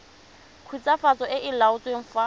khutswafatso e e laotsweng fa